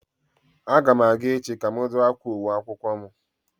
A ga m aga echi ka m dụ akwa uwe akwụkwọ m